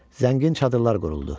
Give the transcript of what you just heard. Zəngin çadırlar quruldu.